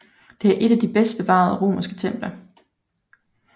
Det er et af de bedst bevarede romerske templer